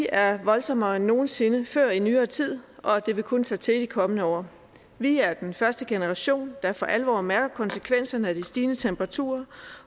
er voldsommere end nogen sinde før i nyere tid og det vil kun tage til i de kommende år vi er den første generation der for alvor mærker konsekvenserne af de stigende temperaturer